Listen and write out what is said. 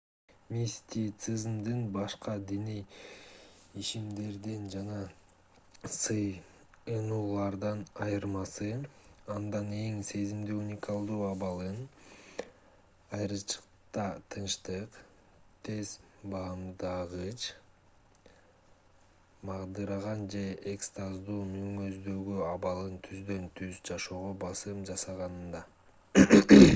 мистицизмдин башка диний ишенимдерден жана сыйынуулардан айырмасы анда аң-сезимдин уникалдуу абалын айрыкча тынчтык тез баамдагыч магдыраган же экстаздуу мүнөздөгү абалын түздөн-түз жашоого басым жасаганында